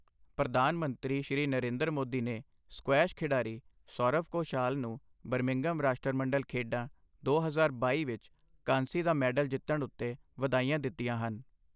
ਪ੍ਰਧਾਨ ਮੰਤਰੀ, ਸ਼੍ਰੀ ਨਰਿੰਦਰ ਮੋਦੀ ਨੇ ਸਕੁਐਸ਼ ਖਿਡਾਰੀ ਸੌਰਵ ਘੋਸ਼ਾਲ ਨੂੰ ਬਰਮਿੰਘਮ ਰਾਸ਼ਟਰਮੰਡਲ ਖੇਡਾਂ ਦੋ ਹਜ਼ਾਰ ਬਾਈ ਵਿੱਚ ਕਾਂਸੀ ਦਾ ਮੈਡਲ ਜਿੱਤਣ ਉੱਤੇ ਵਧਾਈਆਂ ਦਿੱਤੀਆਂ ਹਨ।